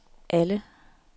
alle